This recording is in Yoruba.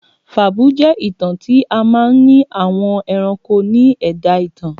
Fàbúú jẹ́ ìtàn tí a máa n ni àwọn ẹranko ni ẹ̀dá ìtàn